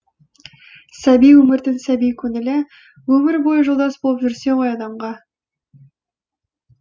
сәби өмірдің сәби көңілі өмір бойы жолдас болып жүрсе ғой адамға